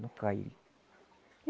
Não cai ele.